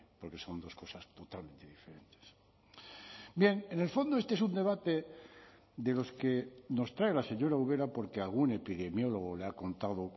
porque son dos cosas totalmente diferentes bien en el fondo este es un debate de los que nos trae la señora ubera porque algún epidemiólogo le ha contado